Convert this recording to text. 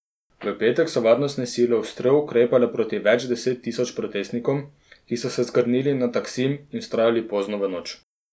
V petek so varnostne sile ostro ukrepale proti več deset tisoč protestnikom, ki so se zgrnili na Taksim in vztrajali pozno v noč.